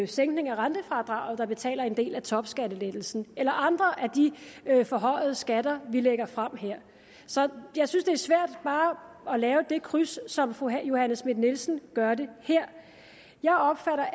sænkningen af rentefradraget der betaler en del af topskattelettelsen eller andre af de forhøjede skatter vi lægger frem her så jeg synes det er svært bare at lave det kryds som fru johanne schmidt nielsen gør her jeg opfatter